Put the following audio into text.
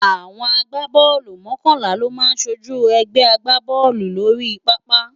Awòn ágbábòlú mòkònlá lò má sójú ègbè àgbábòlú lóri pàápá